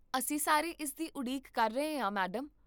ਅਸੀਂ ਸਾਰੇ ਇਸ ਦੀ ਉਡੀਕ ਕਰ ਰਹੇ ਹਾਂ, ਮੈਡਮ